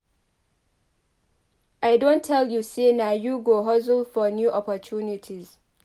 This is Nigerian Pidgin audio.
I don tell you sey na you go hustle for new opportunities.